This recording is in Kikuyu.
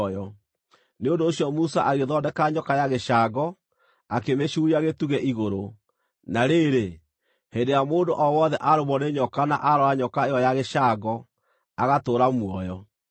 Nĩ ũndũ ũcio Musa agĩthondeka nyoka ya gĩcango, akĩmĩcuuria gĩtugĩ igũrũ. Na rĩrĩ, hĩndĩ ĩrĩa mũndũ o wothe aarũmwo nĩ nyoka na aarora nyoka ĩyo ya gĩcango, agatũũra muoyo.